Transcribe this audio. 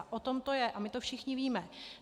A o tom to je a my to všichni víme.